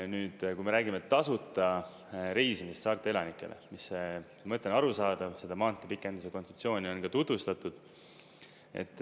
Nüüd, kui me räägime tasuta reisimisest saarte elanikele, mis see mõte on arusaadav, seda maantee pikenduse kontseptsiooni on juba tutvustatud.